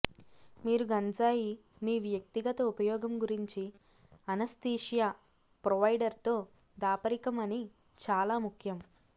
మీరు గంజాయి మీ వ్యక్తిగత ఉపయోగం గురించి అనస్థీషియా ప్రొవైడర్ తో దాపరికం అని చాలా ముఖ్యం